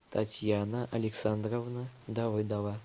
татьяна александровна давыдова